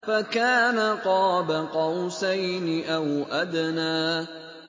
فَكَانَ قَابَ قَوْسَيْنِ أَوْ أَدْنَىٰ